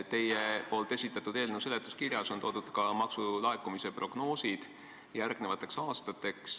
Teie eelnõu seletuskirjas on ka maksulaekumise prognoosid järgmisteks aastateks.